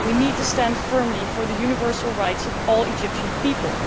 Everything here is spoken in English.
We need to stand firmly for the universal rights of all Egyptian people.